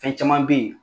Fɛn caman be yen